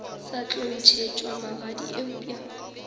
sa tlo ntšhetšwa magadi eupša